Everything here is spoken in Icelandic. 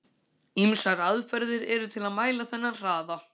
Ýmsar aðferðir eru til að mæla þennan hraða.